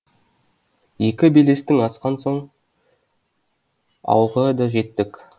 екі белесті асқан соң ауылға да жеттік